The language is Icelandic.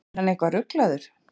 Var hann eitthvað ruglaður?